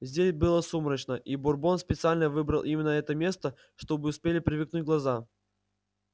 здесь было сумрачно и бурбон специально выбрал именно это место чтобы успели привыкнуть глаза